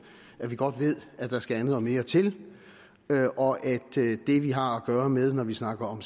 at vi godt ved at der skal andet og mere til og at det vi har at gøre med når vi snakker om